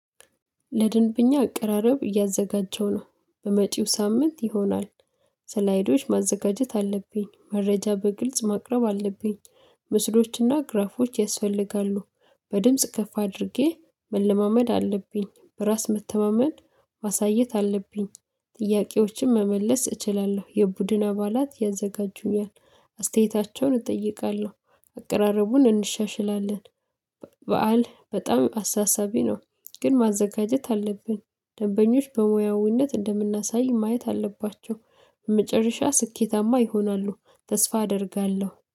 ለድንብኛ አቀራረብ እያዘጋጀው ነው በመጪው ሳምንት ይሆናል። ሰላይዶች ማዘጋጀት አለብኝ መረጃ በግልጽ ማቅረብ አለብኝ። ምስሎችና ግራፎች ያስፈልጋሉ። በድምጽ ከፍ አድርጌ መለማመድ አለብኝ በራስ መተማመን ማሳየት አለብኝ። ጥያቄዎችን መመለስ እችላለሁ። የቡድን አባላት ያዘጋጁኛል። አስተያየታቸውን እጠይቃለሁ አቀራረቡን እንሻሽላለን። በዓል በጣም አሳሳቢ ነው። ግን ማዘጋጀት አለብን። ደንበኞች በሙያዊነት እንደምናሳይ ማየት አለባቸው። በመጨረሻ ስኬታማ ይሆናሉ ተስፋ አደርጋለሁ